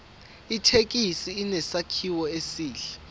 ithekisi inesakhiwo esihle